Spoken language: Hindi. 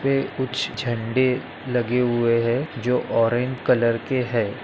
पे कुछ झंडे लगे हुए है जो ऑरेंज कलर के है।